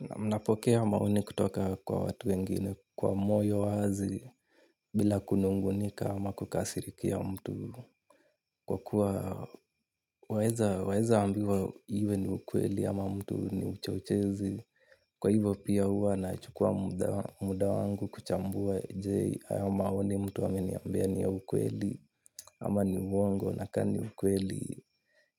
Na mnapokea maoni kutoka kwa watu wengine kwa moyo wazi bila kunungunika ama kukasirikia mtu kwa kuwa waeza waeza ambiwa iwe ni ukweli ama mtu ni mchochezi. Kwa hivyo pia huwa na chukua muda wa muda wangu kuchambua je haya maoni mtu ameniambia ni ya ukweli ama ni uwongo na ka ni ukweli